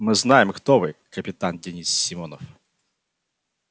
мы знаем кто вы капитан денис симонов